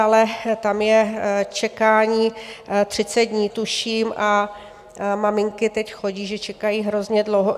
Ale tam je čekání 30 dní, tuším, a maminky teď chodí, že čekají hrozně dlouho.